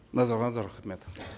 назарларыңызға рахмет